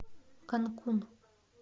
канкун